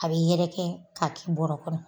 A bɛ yɛrɛkɛ ka kɛ bɔrɔ kɔnɔ.